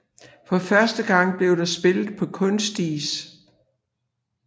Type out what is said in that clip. For første gang blev der spillet på kunstis